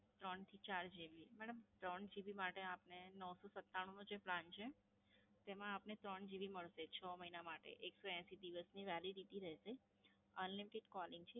ત્રણથી ચાર GB, madam, ત્રણ GB માટે આપને નવસો સતાણુનો જે પ્લાન છે, તેમાં આપને ત્રણ GB મળશે, છ મહિના માટે, એકસો એંસી દિવસની Validity રહેશે, Unlimited Calling છે.